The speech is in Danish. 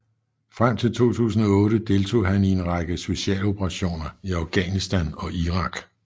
Frem til 2008 deltog han i en række specialoperationer i Afghanistan og Irak